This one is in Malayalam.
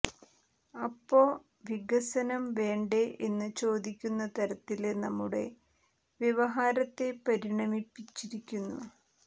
അപ്പോ വികസനം വേണ്ടേ എന്നു ചോദിക്കുന്ന തരത്തില് നമ്മുടെ വ്യവഹാരത്തെ പരിണമിപ്പിച്ചിരിക്കുന്നു